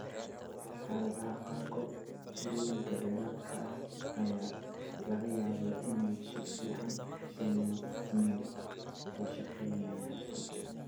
Xaaladaha qaarkood, tirooyinka dheeraadka ah ayaa laga yaabaa inay si fiican u sameysmeen oo shaqeynayaan.